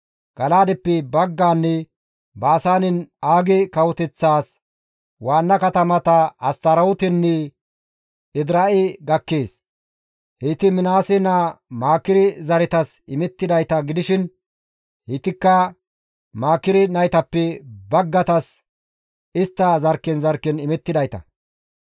Gala7aadeppe baggaanne Baasaanen Aage kawoteththaas waanna katamata Astarootenne Edira7e gakkees. Heyti Minaase naa Maakire zaretas imettidayta gidishin heytikka Maakire naytappe baggaytas istta zarkken zarkken imettidayta.